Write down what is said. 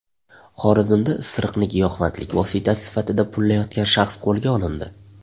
Xorazmda isiriqni giyohvandlik vositasi sifatida pullayotgan shaxs qo‘lga olindi.